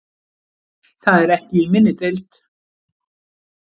Það er ekki í minni deild.